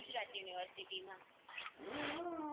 Gujarat university મા